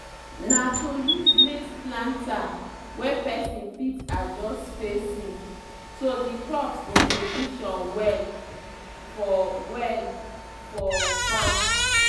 na to use maize planter wey person fit adjust spacing so the crops go position well for well for farm.